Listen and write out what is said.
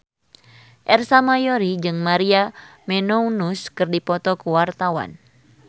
Ersa Mayori jeung Maria Menounos keur dipoto ku wartawan